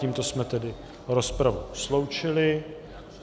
Tímto jsme tedy rozpravu sloučili.